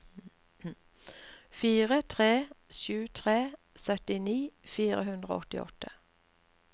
fire tre sju tre syttini fire hundre og åttiåtte